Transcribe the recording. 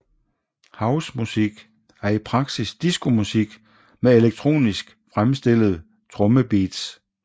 House musik er i praksis disco musik med elektroniske fremstillede trommebeats